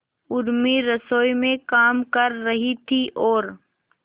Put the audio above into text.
उर्मी रसोई में काम कर रही थी और